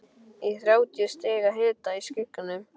Í þrjátíu stiga hita, í skugganum.